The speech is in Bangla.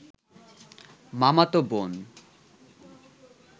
মামাতো বোন